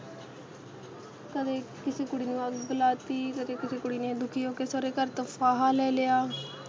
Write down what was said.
ਕਦੇ ਕਿਸੀ ਕੁੜੀ ਨੂੰ ਅੱਗ ਲਾ ਦਿੱਤੀ, ਕਦੇ ਕਿਸੇ ਕੁੜੀ ਨੇ ਦੁਖੀ ਹੋ ਕੇ ਸਹੁਰੇ ਘਰ ਤੋਂ ਫਾਹ ਲੈ ਲਿਆ